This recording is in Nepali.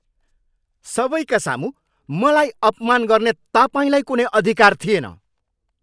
सबैका सामु मलाई अपमान गर्ने तपाईँलाई कुनै अधिकार थिएन।